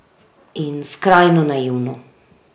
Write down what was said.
In skrajno naivno.